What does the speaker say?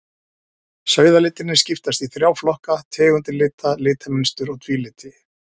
Sauðalitirnir skiptast í þrjá flokka, tegundir lita, litamynstur og tvíliti.